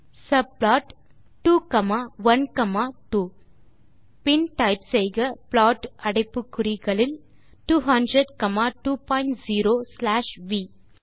subplot 2 comma 1 comma 2 பின் type செய்க plot அடைப்பு குறிகளுக்குள் 200 காமா 20 ஸ்லாஷ் வி